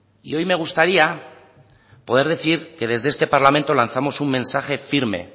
y hoy me gustaría poder decir que desde este parlamento lanzamos un mensaje firme